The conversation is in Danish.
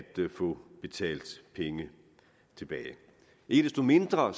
få betalt penge tilbage ikke desto mindre